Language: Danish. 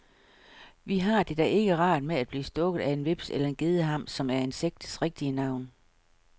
Vi har det da ikke rart med at blive stukket af en hveps eller en gedehams, som er insektets rigtige navn.